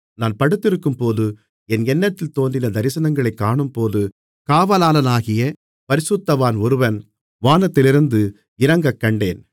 நான் படுத்திருக்கும்போது என் எண்ணத்தில் தோன்றின தரிசனங்களைக் காணும்போது காவலாளனாகிய பரிசுத்தவான் ஒருவன் வானத்திலிருந்து இறங்கக்கண்டேன்